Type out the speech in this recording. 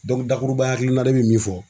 dakuruba hakilina ne bɛ min fɔ